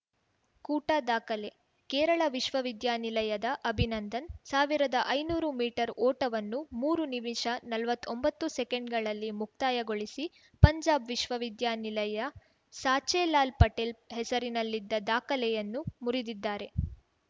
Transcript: ಕೂಟ ದಾಖಲೆ ಕೇರಳ ವಿಶ್ವ ವಿದ್ಯಾ ನಿಲಯದ ಅಭಿನಂದನ್‌ ಸಾವಿರದ ಐನೂರು ಮೀಟರ್ ಓಟವನ್ನು ಮೂರು ನಿಮಿಷ ನಲವತ್ತೊಂಬತ್ತು ಸೆಕೆಂಡ್‌ಗಳಲ್ಲಿ ಮುಕ್ತಾಯಗೊಳಿಸಿ ಪಂಜಾಬ್‌ ವಿಶ್ವ ವಿದ್ಯಾ ನಿಲಯ ಸಾಚೆ ಲಾಲ್‌ ಪಟೇಲ್‌ ಹೆಸರಿನಲ್ಲಿದ್ದ ದಾಖಲೆಯನ್ನು ಮುರಿದಿದ್ದಾರೆ